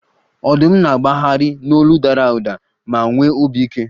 Ọdụm na-agbagharị n'olu dara ụda ma nwee obi ike